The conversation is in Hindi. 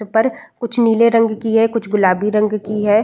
पर कुछ नीले रंग की है। कुछ गुलाबी रंग की है।